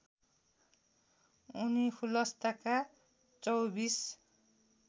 उनी खुलस्तका चौबीस